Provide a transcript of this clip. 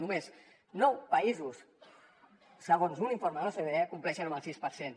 només nou països segons un informe de l’ocde compleixen amb el sis per cent